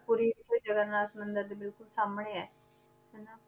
ਪੁਰੀ ਇੱਥੇ ਜਗਨਨਾਥ ਮੰਦਿਰ ਦੇ ਬਿਲਕੁਲ ਸਾਹਮਣੇ ਹੈ ਹਨਾ